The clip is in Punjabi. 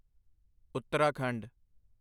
ਉੱਤਰਾਖੰਡ